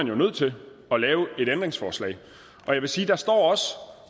jo nødt til at lave et ændringsforslag